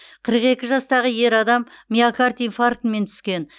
қырық екі жастағы ер адам миокард инфарктімен түскен